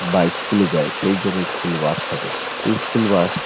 বা ইস্কুল -এ যায় সেই জন্য ইস্কুল বাস থাকে। ইস্কুল বাস --